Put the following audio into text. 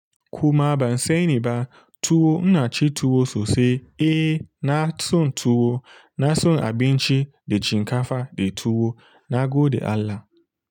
Kuma ban sani ba, tuwo, ina ci tuwo sosai, eh na son tuwo, na son abinci da shinkafa da tuwo, na gode Allah.